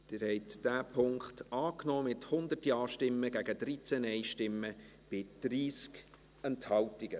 Sie haben diesen Punkt angenommen, mit 100 Ja- gegen 13 Nein-Stimmen bei 30 Enthaltungen.